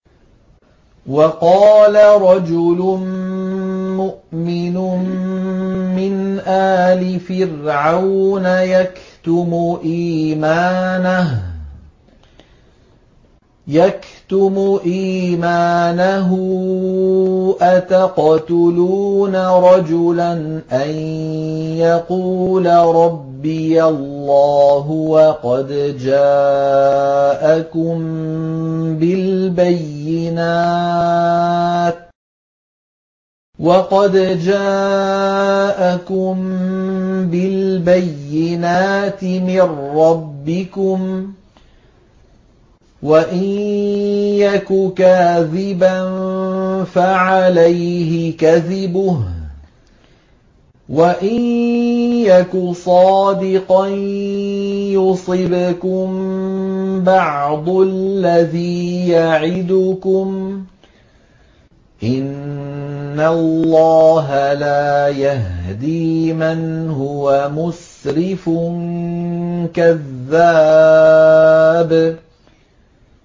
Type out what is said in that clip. وَقَالَ رَجُلٌ مُّؤْمِنٌ مِّنْ آلِ فِرْعَوْنَ يَكْتُمُ إِيمَانَهُ أَتَقْتُلُونَ رَجُلًا أَن يَقُولَ رَبِّيَ اللَّهُ وَقَدْ جَاءَكُم بِالْبَيِّنَاتِ مِن رَّبِّكُمْ ۖ وَإِن يَكُ كَاذِبًا فَعَلَيْهِ كَذِبُهُ ۖ وَإِن يَكُ صَادِقًا يُصِبْكُم بَعْضُ الَّذِي يَعِدُكُمْ ۖ إِنَّ اللَّهَ لَا يَهْدِي مَنْ هُوَ مُسْرِفٌ كَذَّابٌ